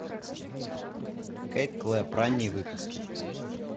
кейт клэп ранние выпуски